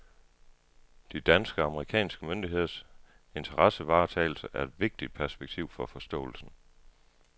De danske og amerikanske myndigheders interessevaretagelse er et vigtigt perspektiv for forståelsen.